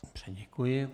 Dobře, děkuji.